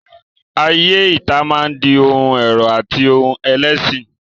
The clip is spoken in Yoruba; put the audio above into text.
Ayé ìta máa di ohun ẹ̀rọ̀ àti ohun ẹ̀lẹ̀ síi.